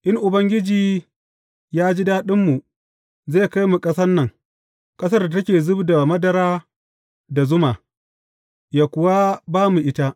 In Ubangiji ya ji daɗinmu, zai kai mu ƙasan nan, ƙasar da take zub da madara da zuma, yă kuwa ba mu ita.